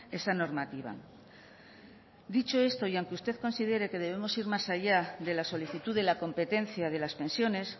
esa normativa dicho esto y aunque usted considere que debemos ir más allá de la solicitud de la competencia de las pensiones